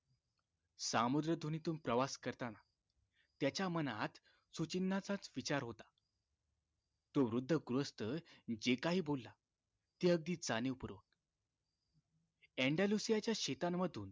सामुद्रीधुनीतून प्रवास करताना त्याच्या मनात सुचिन्हाचाच विचार होता तो वृद्ध गृहस्थ जे काही बोलला ते अगदी जाणीवपूर्व एन्डालुसियाच्या शेतांमधून